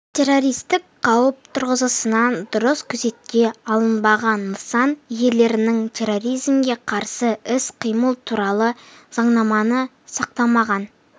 террористік қауіп тұрғысынан дұрыс күзекте алынбаған нысан иелерінің терроризмге қарсы іс-қимыл туралы заңнаманы сақтамағаны